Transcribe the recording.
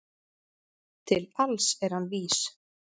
Til alls er hann vís